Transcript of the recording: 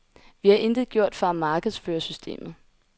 Vi har intet gjort for at markedsføre systemet.